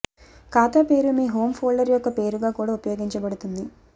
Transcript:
ఖాతా పేరు మీ హోమ్ ఫోల్డర్ యొక్క పేరుగా కూడా ఉపయోగించబడుతుంది